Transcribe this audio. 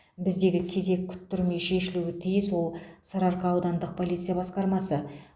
біздегі кезек күттірмей шешілуі тиіс ол сарыарқа аудандық полиция басқармасы